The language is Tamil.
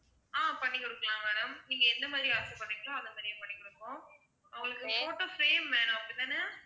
ஆஹ் பண்ணி கொடுக்கலாம் madam நீங்க எந்த மாதிரி ஆசை படுறீங்களோ அந்த மாதிரியே பண்ணி கொடுப்போம் உங்களுக்கு photo frame வேணும் அப்படி தானே?